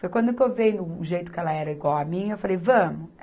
Foi quando que eu vendo o jeito que ela era igual a mim, eu falei, vamos.